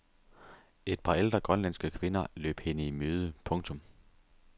Et par ældre grønlandske kvinder løb hende i møde. punktum